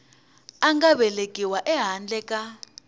a nga velekiwa ehandle ka